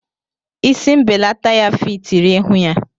Isi mbelata ya fitiri ihu ya.